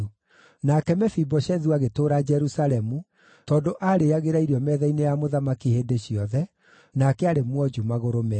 Nake Mefiboshethu agĩtũũra Jerusalemu, tondũ aarĩĩagĩra irio metha-inĩ ya mũthamaki hĩndĩ ciothe, nake arĩ mwonju magũrũ meerĩ.